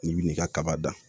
N'i bi n'i ka kaba dan